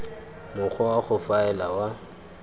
mokgwa wa go faela wa